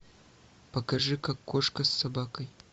покажи как кошка с собакой